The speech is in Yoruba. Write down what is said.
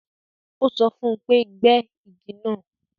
Ó sọ fún un pé gbẹ́ igi náà